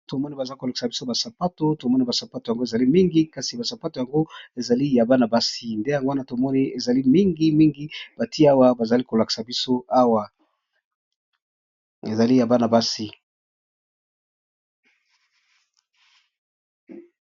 Tomoni baeolakisa bison ba sapatu ya Bana basi